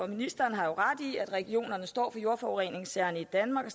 ministeren har jo ret i at regionerne står for jordforureningssagerne i danmark og